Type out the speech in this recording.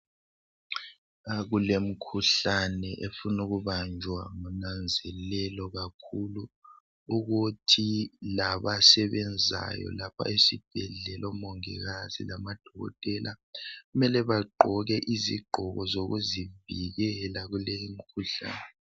La kulemikhuhlane efuna ukubanjwa ngonanzelelo kakhulu ukuthi labasebenzayo lapha esibhedlela omongikazi lamadokotela mele bagqoke izigqoko zokuzivikela kuleyi imikhuhlane